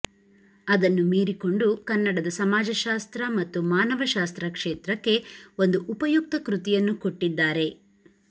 ಅದನ್ನು ಮೀರಿಕೊಂಡು ಕನ್ನಡದ ಸಮಾಜಶಾಸ್ತ್ರ ಮತ್ತು ಮಾನವಶಾಸ್ತ್ರ ಕ್ಷೇತ್ರಕ್ಕೆ ಒಂದು ಉಪಯುಕ್ತ ಕೃತಿಯನ್ನು ಕೊಟ್ಟಿದ್ದಾರೆ